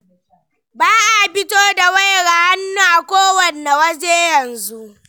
Ba a fito da wayar hannu a kowanne waje yanzu.